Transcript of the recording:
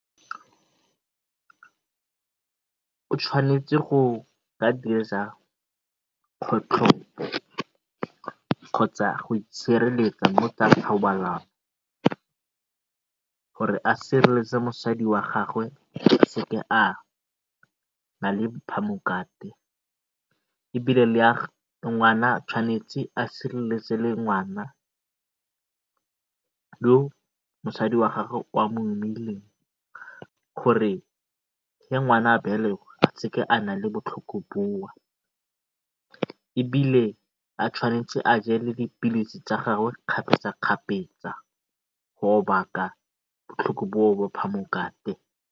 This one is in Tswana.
O tshwanetse go kgotlhopo kgotsa go itshireletsa mo tsa thobalano gore a sireletse mosadi wa gagwe a seka a ba le phamokate ebile le a ngwana tshwanetse a sireletse le ngwana le mosadi wa gagwe o a mo gore ngwana a belegwa a seka a na le botlhoko bowe, ebile a tshwanetse a je le dipilisi tsa gagwe kgapetsa kgapetsa ba phamokate.